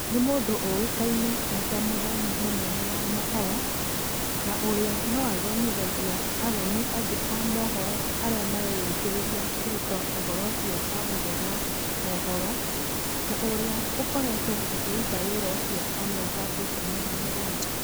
Nĩ mũndũ ũĩkaine e ta mũthomi mũnene wa mohoro, na ũrĩa no athomithagia athomi angĩ a mohoro arĩa mareyũkĩrĩria kũruta ũhoro ũcio wa gũthoma mohoro, na ũrĩa ũkoretwo akĩruta wĩra ũcio kwa mĩaka ikũmi na mũgwanja.